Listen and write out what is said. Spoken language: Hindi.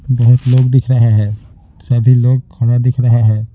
बहुत लोग दिख रहा है सभी लोग खड़ा दिख रहा है।